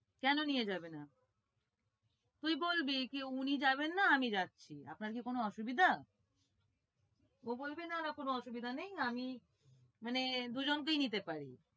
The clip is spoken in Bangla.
কেন নিয়ে যাবে না? তুই বলবি, যে উনি যাবেন না, আমি যাচ্ছি, আপনার কি কোনো অসুবিধা? ও বলবে না না কোনো অসুবিধা নেই, আমি মানে দুজনকেই নিতে পারি।